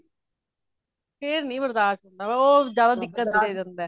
ਫੇਰ ਨਹੀਂ ਬਰਦਾਸ਼ ਹੋਂਦਾ ਉਹ ਜਾਂਦਾ ਦਿੱਕਤ ਦੇ ਦੇੰਦਾ